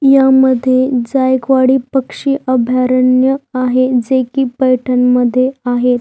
या मध्ये जायकवडी पक्षी अभयारण्य आहे जे की पैठाण मध्ये आहे.